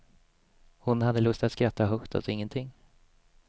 Hon hade lust att skratta högt åt ingenting.